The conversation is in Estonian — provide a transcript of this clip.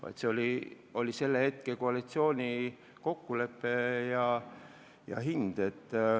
Aga see oli selle koalitsiooni kokkulepe ja hind.